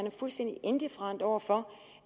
er fuldstændig indifferent over for